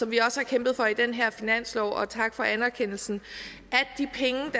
vi også har kæmpet for i den her finanslov og tak for anerkendelsen